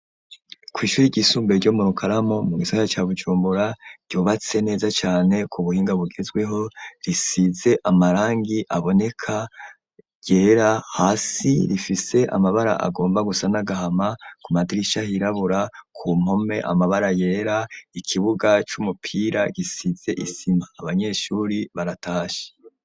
Kw'ishuri ryisumbe ryo mu Rukaramu mu gisagara Bujumbura ryubatse neza cane ku buhinga bugezweho risize amarangi aboneka yera hasi rifise amabara agomba gusa nagahama ku madirisha hirabura ku mpome amabara yera ikibuga c'umupira gisize isima abanyeshuri baratashe.